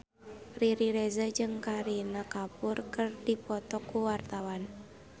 Riri Reza jeung Kareena Kapoor keur dipoto ku wartawan